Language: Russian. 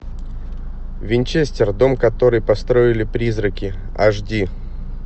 винчестер дом который построили призраки аш ди